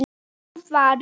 Nú var